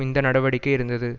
இந்த நடவடிக்கை இருந்தது